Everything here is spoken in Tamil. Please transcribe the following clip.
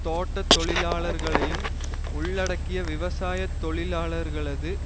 தோட்ட தொழிலாளர்களையும் உள்ளடக்கிய விவசாய தொழிலாளர்களது